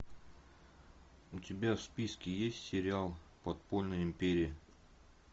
у тебя в списке есть сериал подпольная империя